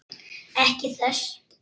Ekki þess.